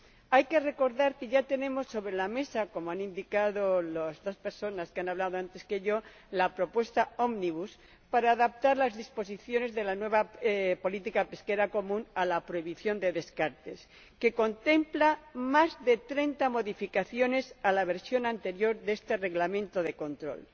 Hay que recordar que ya tenemos sobre la mesa —como han indicado las dos personas que han hablado antes que yo— la propuesta ómnibus para adaptar las disposiciones de la nueva política pesquera común a la prohibición de descartes, que contempla más de treinta modificaciones de la versión anterior de este Reglamento de control.